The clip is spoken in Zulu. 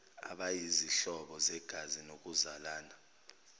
abayizihlobo zegazi ngokuzalana